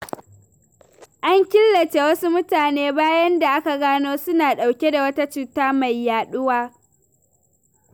An killace wasu mutane, bayan da aka gano suna ɗauke da wata cuta mai yaɗuwa.